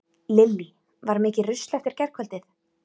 Lillý: Var mikið rusl eftir gærkvöldið?